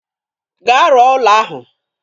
Gaa rụọ ụlọ ahụ.